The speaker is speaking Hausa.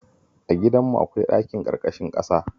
A gidanmu akwai ɗakin ƙarƙashin ƙasa